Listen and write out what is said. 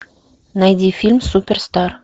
найди фильм суперстар